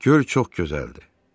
Göl çox gözəldir.